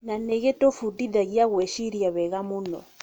Na gĩtũbundithagia gwĩciria wega mũno.